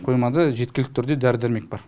қоймада жеткілікті түрде дәрі дәрмек бар